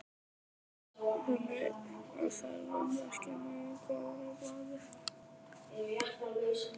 Þannig að þær verða ekki nógu góðar á bragðið?